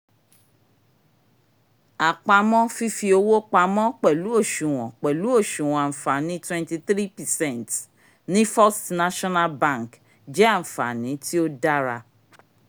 àpamọ́ fífi owó pamọ́ pẹ̀lú oṣuwọn pẹ̀lú oṣuwọn àǹfààní twenty three percent ní first national bank jẹ́ ànfààní tíó dára